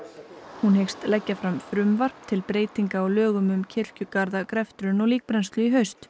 hún hyggst leggja fram frumvarp til breytinga á lögum um kirkjugarða greftrun og líkbrennslu